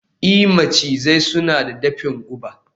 i, macizai suna da dafin guba